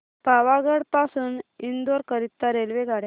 पावागढ पासून इंदोर करीता रेल्वेगाड्या